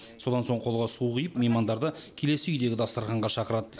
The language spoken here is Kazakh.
содан соң қолға су құйып меймандарды келесі үйдегі дастарханға шақырады